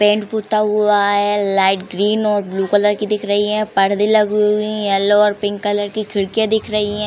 Paint पुता हुआ है। लाइट ग्रीन और ब्लू कलर की दिख रही हैं। पर्दे लगी हुई हैं। येलो और पिंक कलर की खिड़कियां दिख रही हैं।